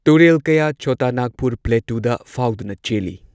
ꯇꯨꯔꯦꯜ ꯀꯌꯥ ꯆꯣꯇꯥ ꯅꯥꯒꯄꯨꯔ ꯄ꯭ꯂꯦꯇꯨꯗ ꯐꯥꯎꯗꯨꯅ ꯆꯦꯜꯂꯤ꯫